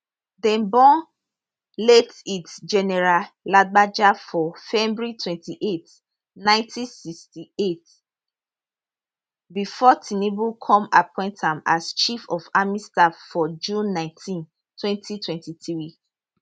dem born late lt general lagbaja for february 28 1968 bifor tinubu come appoint am as chief of army staff for june 19 2023